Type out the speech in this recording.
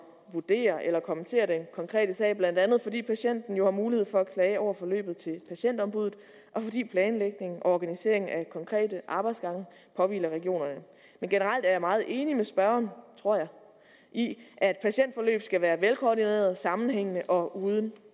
vurdere eller kommentere den konkrete sag blandt andet fordi patienten jo har mulighed for at klage over forløbet til patientombuddet og fordi planlægningen og organiseringen af konkrete arbejdsgange påhviler regionerne men generelt er jeg meget enig med spørgeren tror jeg i at patientforløb skal være velkoordinerede sammenhængende og uden